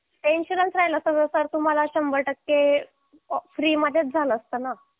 insurance राहिला असता तर तुम्हाला शंभर टक्के फ्री मध्येच झालं असतं ना